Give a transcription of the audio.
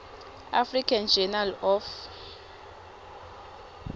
african journal of